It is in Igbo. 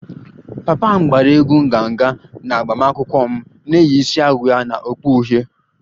Papa m gbara egwú nganga na agbamakwụkwọ m na-eyi isiagu ya na okpu uhie